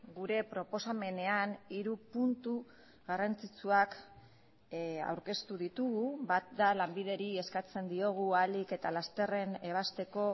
gure proposamenean hiru puntu garrantzitsuak aurkeztu ditugu bat da lanbideri eskatzen diogu ahalik eta lasterren ebazteko